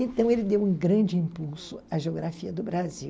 Então, ele deu um grande impulso à geografia do Brasil.